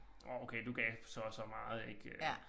Åh okay du gav så og så meget ik øh